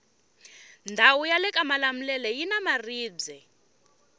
ndawu yalekamalamulele yina maribwe